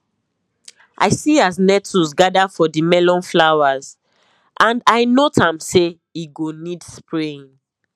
i see as nettles gather for the melon flowers and i note am say e go need spraying